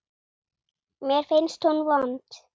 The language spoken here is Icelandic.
Mér finnst hún vond.